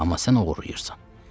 Amma sən oğurlayırsan.